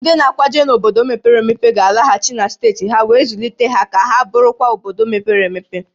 Ndị na-akwaje n'obodo mepere emepe ga-alaghachi na steeti ha wee zụlite ha ka ha bụrụkwa obodo mepere emepe